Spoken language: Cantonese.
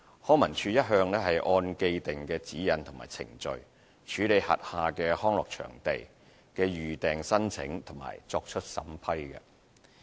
康文署一向按既定的指引和程序，處理轄下康樂場地的預訂申請及作出審批。